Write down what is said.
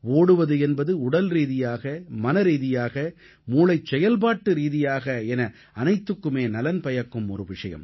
ஓடுவது என்பது உடல்ரீதியாக மனரீதியாக மூளைச் செயல்பாட்டு ரீதியாக என அனைத்துக்குமே நலன் பயக்கும் ஒரு விஷயம்